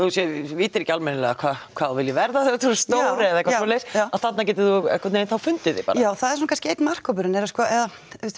vitir ekki almennilega hvað hvað þú viljir verða þegar þú ert orðin stór eða eitthvað svoleiðis að þarna getur þú einhvern veginn fundið þig já það er kannski einn markhópurinn eða sko við